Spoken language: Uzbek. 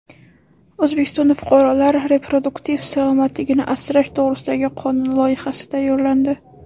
O‘zbekistonda fuqarolar reproduktiv salomatligini asrash to‘g‘risidagi qonun loyihasi tayyorlandi.